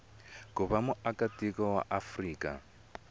ku va muakatiko wa afrika